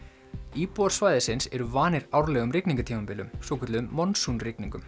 íbúar svæðisins eru vanir árlegum rigningartímabilum svokölluðum